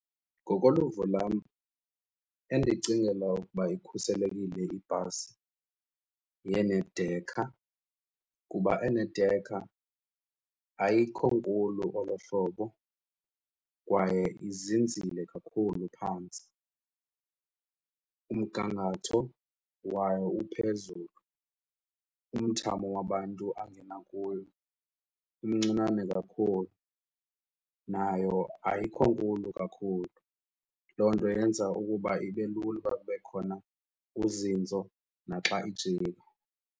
Ngokoluvo lwam endicingela ukuba ikhuselekile ibhasi yenedekha kuba enedekha ayikho nkulu olo hlobo kwaye izinzile kakhulu phantsi, umgangatho wayo uphezulu, umthamo wabantu angena kuyo umncinane kakhulu nayo ayikho nkulu kakhulu. Loo nto yenza ukuba ibe lula ukuba kube khona uzinzo naxa ijika.